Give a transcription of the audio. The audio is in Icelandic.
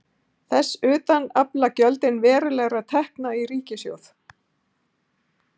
Þess utan afla gjöldin verulegra tekna í ríkissjóð.